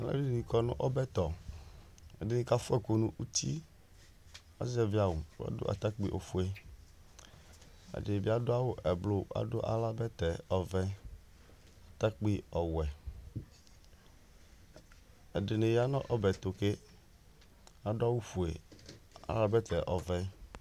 aluɛdɩnɩ kɔ nu ɔbɛtɔ, ɛdɩnɩ kafua ɛkʊ nu uti, azɛvi awu ku adʊ atakpi ofuǝ , ɛdɩnɩbɩ adʊ awu eblu ku adʊ aɣla bɛtɛ nu atakpi ɔwɛ, ɛdɩnɩ ya nu ɔbɛtu ke adu awʊ fuǝ nu aɣla bɛtɛ ɔvɛ